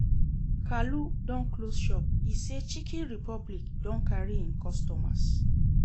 Kalu don close shop, e say Chiken Republic don carry im customers